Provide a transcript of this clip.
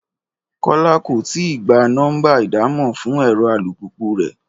Kọ́lá kò ì tíì gba nọ́mbà ìdámọ̀ fún ẹ̀rọ alùpùpù rẹ̀